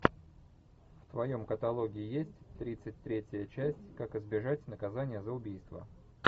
в твоем каталоге есть тридцать третья часть как избежать наказания за убийство